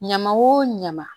Ɲaman wo ɲama